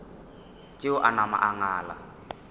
tšeo a napa a ngala